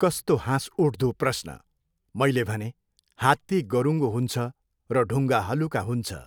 कस्तो हाँसउठ्दो प्रश्न! मैले भनेँ, हात्ती गरुङ्गो हुन्छ र ढुङ्गा हलुका हुन्छ।